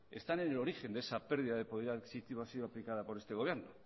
que están en el origen de esa pérdida de poder adquisitivo ha sido aplicada por este gobierno